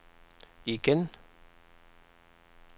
igen